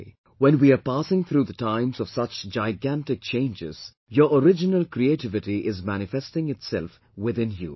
Today when we are passing through the times of such gigantic changes, your original creativity is manifesting itself within you